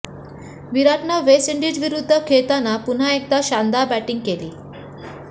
विराटनं वेस्ट इंडिजविरूद्ध खेळताना पुन्हा एकदा शानदार बॅटिंग केली